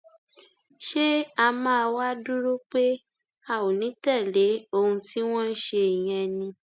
ṣé a máa wáá dúró pé a ò ní í tẹlé ohun tí wọn ń ṣe yẹn ni